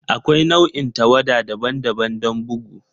Akwai nau'in tawada daban-daban don bugu.